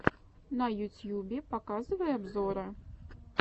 на ютьюбе показывай обзоры